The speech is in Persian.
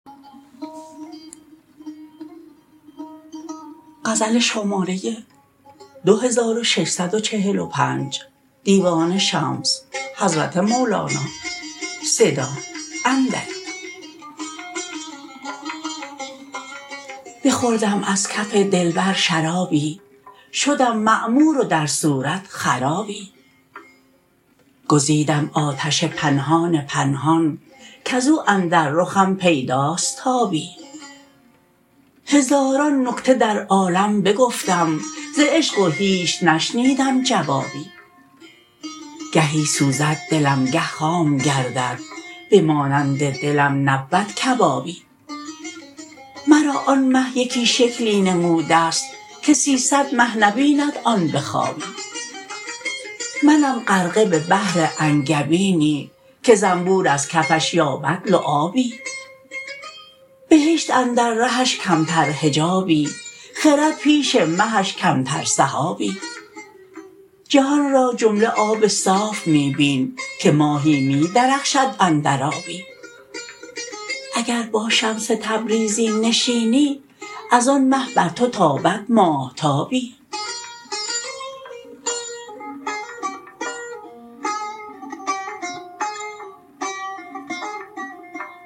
بخوردم از کف دلبر شرابی شدم معمور و در صورت خرابی گزیدم آتش پنهان پنهان کز او اندر رخم پیداست تابی هزاران نکته در عالم بگفتم ز عشق و هیچ نشنیدم جوابی گهی سوزد دلم گه خام گردد به مانند دلم نبود کبابی مرا آن مه یکی شکلی نموده ست که سیصد مه نبیند آن به خوابی منم غرقه به بحر انگبینی که زنبور از کفش یابد لعابی بهشت اندر رهش کمتر حجابی خرد پیش مهش کمتر سحابی جهان را جمله آب صاف می بین که ماهی می درخشد اندر آبی اگر با شمس تبریزی نشینی از آن مه بر تو تابد ماهتابی